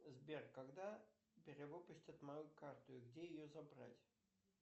сбер когда перевыпустят мою карту и где ее забрать